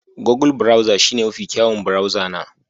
Google browser shine mafi kyawun burauza na